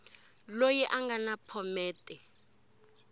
loyi a nga na phomete